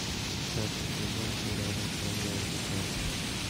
пятый сезон сериала темное дитя